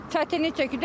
Çətinlik çəkir.